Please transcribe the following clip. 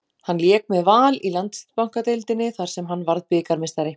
Hann lék með Val í Landsbankadeildinni þar sem hann varð bikarmeistari.